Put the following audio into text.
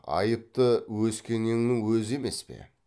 айыпты өскенеңнің өзі емес пе